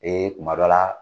Ee kuma dɔ la